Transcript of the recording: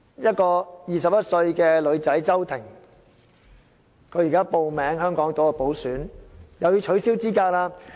一個21歲的女孩子叫周庭，她現在報名參加香港島補選，又要被取消資格。